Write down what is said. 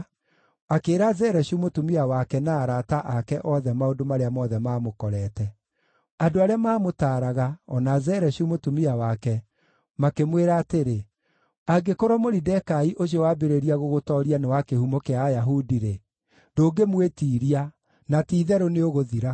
akĩĩra Zereshu mũtumia wake na arata ake othe maũndũ marĩa mothe maamũkorete. Andũ arĩa maamũtaaraga, o na Zereshu mũtumia wake, makĩmwĩra atĩrĩ, “Angĩkorwo Moridekai ũcio wambĩrĩria gũgũtooria nĩ wa kĩhumo kĩa Ayahudi-rĩ, ndũngĩmwĩtiiria, na ti-itherũ nĩũgũthira!”